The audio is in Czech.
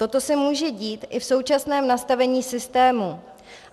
Toto se může dít i v současném nastavení systému.